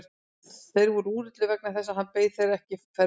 Þeir voru úrillir vegna þess að hann beið þeirra ekki ferðbúinn.